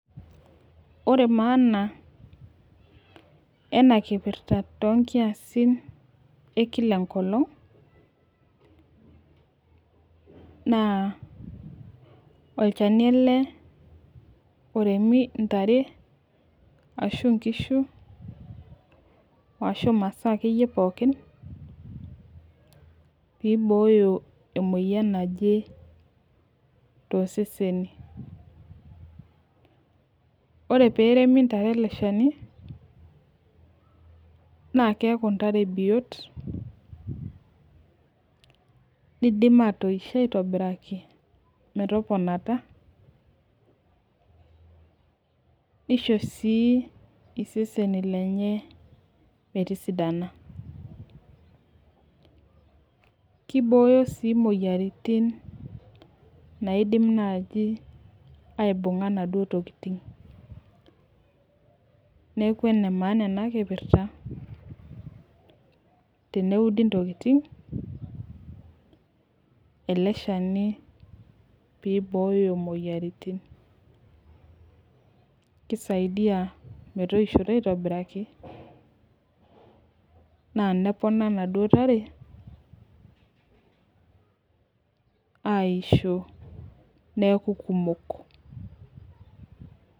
Ore maana enakipirta tonkiasin ekila enkolong, naa olchani ele oremi ntare, ashu nkishu, ashu masaa akeyie pookin, pibooyo emoyian naje toseseni. Ore peremi ntare ele shani, naa keeku ntare biot, nidim atoisho aitobiraki metoponata, nisho si iseseni lenye metisidana. Kibooyo si moyiaritin naidim nai aibung'a naduo tokiting. Neeku enemaana enakipirta, teneudi ntokiting, ele shani pibooyo moyiaritin. Kisaidia metoishoto aitobiraki, na nepona naduo tare, aisho neeku kumok.